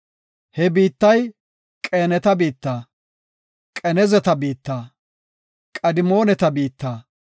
He biittay Qeenata biitta, Qenezata biitta, Qadimooneta biitta,